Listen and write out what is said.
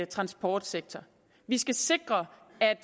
transportsektor vi skal sikre at